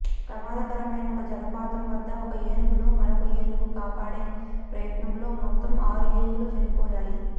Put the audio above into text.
ప్రమాదకరమైన ఒక జలపాతం వద్ద ఒక ఏనుగును మరొక ఏనుగు కాపాడే ప్రయత్నంలో మొత్తం ఆరు ఏనుగులు చనిపోయాయి